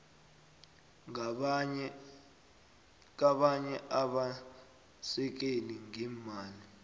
kabanye abasekeli ngeemali